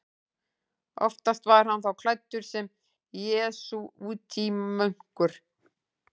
Oftast var hann þá klæddur sem jesúítamunkur.